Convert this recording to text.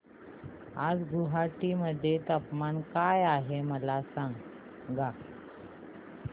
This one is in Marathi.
आज गुवाहाटी मध्ये तापमान काय आहे मला सांगा